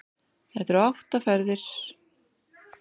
Það eru átta ferðir um Hringveginn.